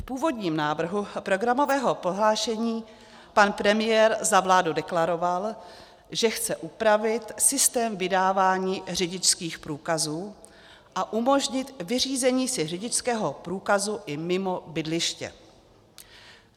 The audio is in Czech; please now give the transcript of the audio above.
V původním návrhu programového prohlášení pan premiér za vládu deklaroval, že chce upravit systém vydávání řidičských průkazů a umožnit vyřízení si řidičského průkazu i mimo bydliště.